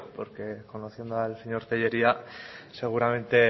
porque conociendo al señor tellería seguramente